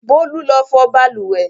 Bólú lọ fọ balùwẹ̀!